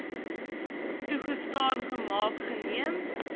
toegestaan gemaak geneem